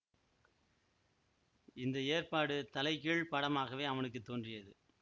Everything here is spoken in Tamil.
இந்த ஏற்பாடு தலைகீழ்ப் படமாகவே அவனுக்கு தோன்றியது